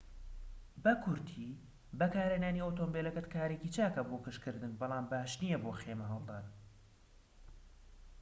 بە کورتی بەکارهێنانی ئۆتۆمبیلەکەت کارێکی چاکە بۆ گەشتکردن بەڵام باش نیە بۆ خێمە هەڵدان